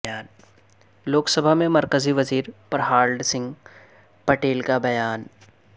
لوک سبھا میں مرکزی وزیر پرہالڈ سنگھ پٹیل کا بیان